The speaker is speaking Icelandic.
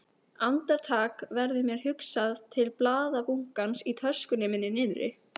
Andartak verður mér hugsað til blaðabunkans í töskunni minni niðri.